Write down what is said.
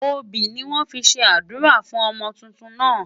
Obì ni wọ́n fi ṣe àdúrà fún ọmọ tuntun náà.